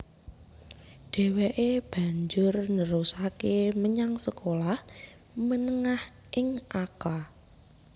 Dheweke banjur nerusake menyang sekolah menengah ing Akka